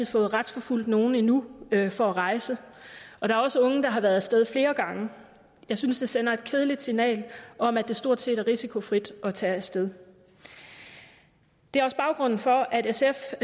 fået retsforfulgt nogen endnu for at rejse og der er også unge der har været af sted flere gange jeg synes det sender et kedeligt signal om at det stort set er risikofrit at tage af sted det er også baggrunden for at sf